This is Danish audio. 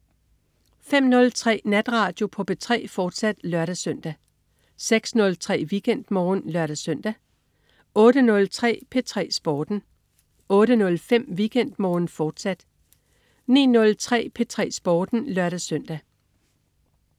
05.03 Natradio på P3, fortsat (lør-søn) 06.03 WeekendMorgen (lør-søn) 08.03 P3 Sporten 08.05 WeekendMorgen, fortsat 09.03 P3 Sporten (lør-søn)